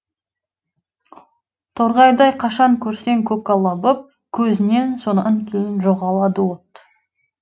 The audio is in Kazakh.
торғайдай қашан көрсең көкала боп көзінен сонан кейін жоғалады от